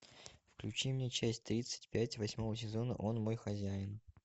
включи мне часть тридцать пять восьмого сезона он мой хозяин